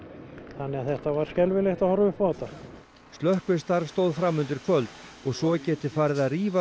þannig að þetta var skelfilegt að horfa upp á þetta slökkvistarf stóð fram undir kvöld og svo geti farið að rífa